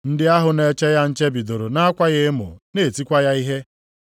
Ndị ahụ na-eche ya nche bidoro na-akwa ya emo na-etikwa ya ihe.